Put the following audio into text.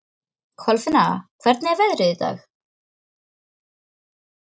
Kolfinna, hvernig er veðrið í dag?